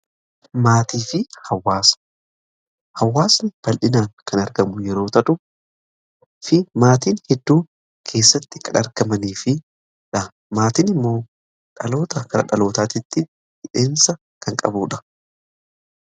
Hawaasni bal'inaan kan argamu yeroo ta'u fi maatiin hedduu keessatti kan argamanii fi maatiin immoo dhaloota kara dhalootaatti hidhamiinsa kan qabuudha.